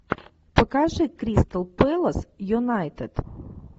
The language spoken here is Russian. покажи кристал пэлас юнайтед